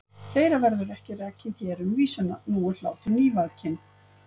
Fleira verður ekki rakið hér um vísuna: Nú er hlátur nývakinn.